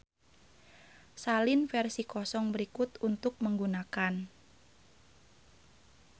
Salin versi kosong berikut untuk menggunakan.